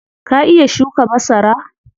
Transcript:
Ka iya shuka masara?